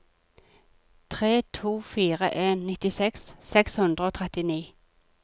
tre to fire en nittiseks seks hundre og trettini